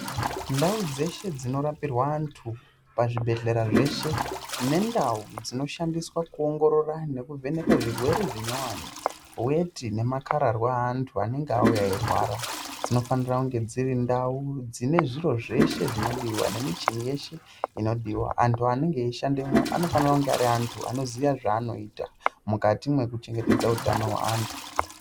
Ndau dzeshe dzinorapirwa antu pazvibhendleya zveshe. Nendau dzinoshandiswa kuongorora nekuvheneka zvirwere zvinyowani. Weti nemakararwa eantu anenge auya eirwara dzinofanira kunge dziri ndau dzine zviro zveshe zvinodiwa nemichini yeshe inodiwa. Antu anenge eishanda mwo anofanira kunge ari antu anoziya zvaanoita mukati mwekuchengetedza utano hweantu.